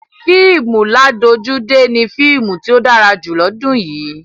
Fíìmù ládojúdé ni fíìmù tí ó dára jù lọ́dún yìí.